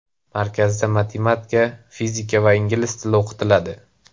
Markazda matematika, fizika va ingliz tili o‘qitiladi.